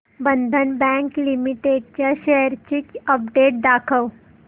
बंधन bank limited च्या shares ची update दाखव